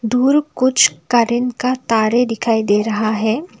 दूर कुछ करेंट का तारे दिखाई दे रहा है।